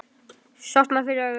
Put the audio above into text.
Sortnar fyrir augum.